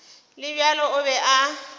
le bjalo o be a